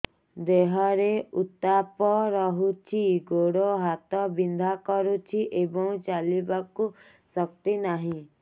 ଦେହରେ ଉତାପ ରହୁଛି ଗୋଡ଼ ହାତ ବିନ୍ଧା କରୁଛି ଏବଂ ଚାଲିବାକୁ ଶକ୍ତି ନାହିଁ